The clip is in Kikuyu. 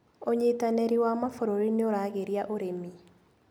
ũnyitanĩri wa mabũruri nĩũragĩria ũrĩmi.